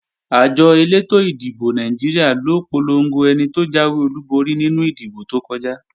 Àjọ elétò ìdìbò Nàìjíríà ló polongo ẹni tó jáwé olúborí nínú ìdìbò tó kọjá